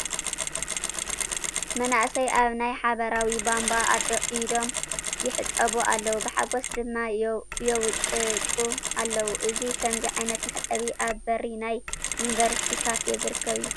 መናእሰይ ኣብ ናይ ሓባሬዊ ቡንቧ ኢዶም ይሕፀቡ ኣለዉ፡፡ ብሓጐስ ድማ ይውጭጩ ኣለዉ፡፡ እዚ ከምዚ ዓይነት መሕፀቢ ኣብ በሪ ናይ ዪኒቨርሲቲ ካፌ ዝርከብ እዩ፡፡